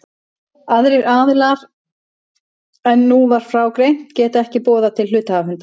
Aðrir aðilar en nú var frá greint geta ekki boðað til hluthafafundar.